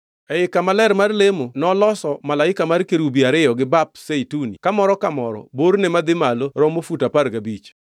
Ei kama ler mar lemo noloso malaika mar kerubi ariyo gi bap Zeituni ka moro ka moro borne madhi malo romo fut apar gabich.